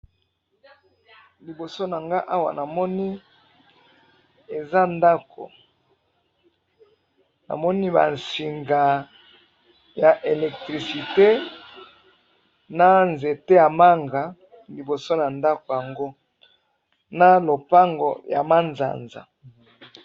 liboso na nga awa namoni eza ndakou namoni ba singya electriciter na nzete ya mango na liboso nango na lppango ya manzanza